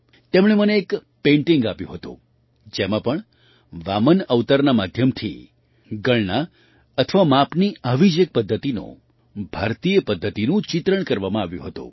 તેમણે મને એક પેઇન્ટિંગ આપ્યું હતું જેમાં પણ વામન અવતારના માધ્યમથી ગણના અથવા માપની આવી જ એક પદ્ધતિનું ભારતીય પદ્ધતિનું ચિત્રણ કરવામાં આવ્યું હતું